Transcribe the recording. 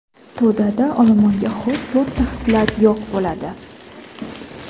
To‘dada olomonga xos to‘rtta xislat yo‘q bo‘ladi.